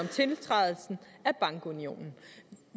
tiltrædelsen af bankunionen